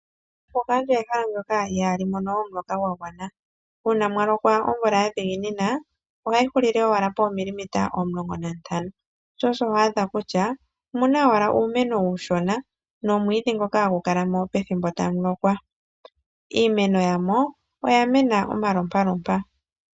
Ombuga oyo ehala ndyoka ihamu mono omuloka gwa gwana una mwalokwa omvula ya dhiginina ohayi hulile owala po mililimita 15, sho osho wadha kutya omuna owala uumeno uushona nomwidhi ngoka ha gu kalamo pethimbo tamu lokwa niineno yamo oya mena omalompalompa.